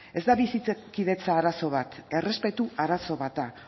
ez da bizikidetza arazo bat errespetu arazo bat da